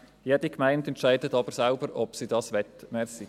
Jede Gemeinde entscheidet aber selbst, ob sie dies will.